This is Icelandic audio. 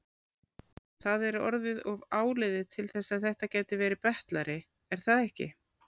Það er orðið of áliðið til þess að þetta gæti verið betlari, er það ekki?